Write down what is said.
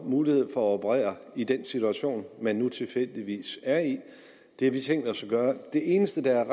muligheder for at operere i den situation man nu tilfældigvis er i det har vi tænkt os at gøre det eneste der er